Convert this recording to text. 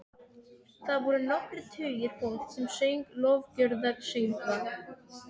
Þar voru nokkrir tugir fólks sem söng lofgjörðarsöngva.